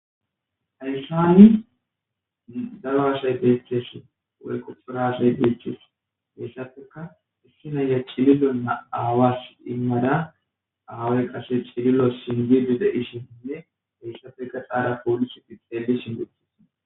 Hayssani daro asay bettees /birazzey bettees hessapekka issi na'ya awasi cililuwa emishin awaykka cililuwa singishe de'shin gaxxara pollisey xelishin